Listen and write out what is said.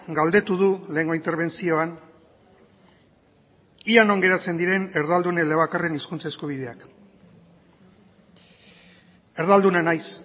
galdetu du lehengo interbentzioan ia non geratzen diren erdaldun elebakarren hizkuntza eskubideak erdalduna naiz